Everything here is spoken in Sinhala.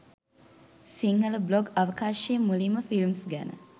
සිංහල බ්ලොග් අවකාශයේ මුලින්ම ෆිල්ම්ස් ගැන